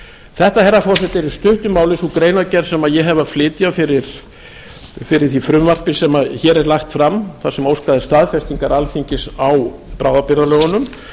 þetta herra forseti er í stuttu máli sú greinargerð sem ég hef að flytja fyrir því frumvarpi sem hér er lagt fram þar sem óskað er staðfestingar alþingis á bráðabirgðalögunum